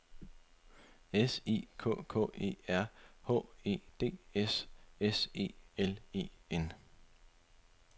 S I K K E R H E D S S E L E N